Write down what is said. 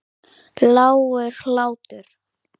Lágur hlátur.